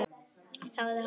Sagði hann.